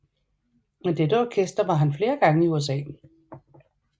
Med dette orkester var han flere gange i USA